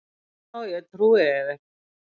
Jú, þá trúi ég þér.